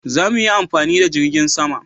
za mu yi amfani da jirgin sama